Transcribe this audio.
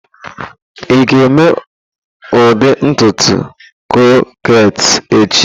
Ị ga-eme ụdị ntutu krokhet echi?